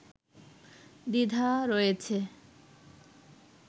দ্বিধা রয়েছে